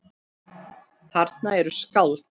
Þarna eru skáld.